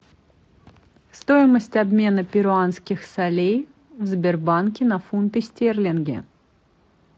стоимость обмена перуанских солей в сбербанке на фунты стерлинги